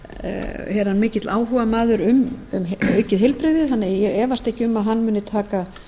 er hann mikill áhugamaður um aukið heilbrigði þannig að ég efast ekki um að hann muni taka